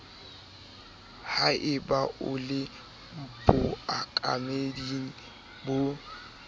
haeba o le bookameding bo